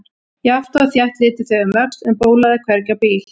Jafnt og þétt litu þau um öxl en bólaði hvergi á bíl.